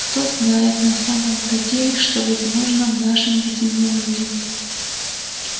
кто знает на самом-то деле что возможно в нашем безумном мире